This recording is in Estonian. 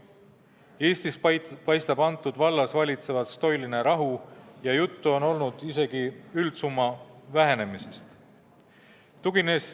Eestis paistab selles vallas valitsevat stoiline rahu ja juttu on olnud isegi üldsumma vähenemisest.